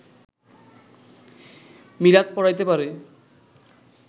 মিলাদ পড়াইতে পারে